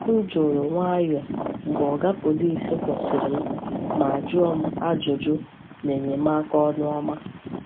M juru nwayọọ mgbe Oga Pọlịs kwụsịrị m ma jụọ m ajụjụ n’enyemaka ọnụ ọma.